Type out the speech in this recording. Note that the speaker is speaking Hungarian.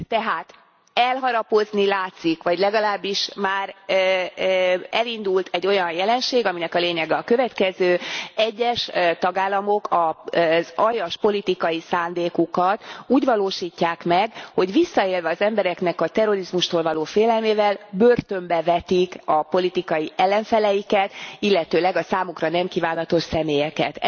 Tehát, elharapódzni látszik vagy legalábbis már elindult egy olyan jelenség, amelynek lényege a következő egyes tagállamok az aljas politikai szándékukat úgy valósítják meg, hogy visszaélve az embereknek a terrorizmustól való félelmével börtönbe vetik a politikai ellenfeleiket, illetőleg a számukra nem kívánatos személyeket.